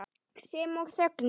Sem og þögnin.